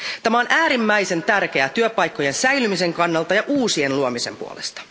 Tämä on äärimmäisen tärkeää työpaikkojen säilymisen kannalta ja uusien luomisen puolesta.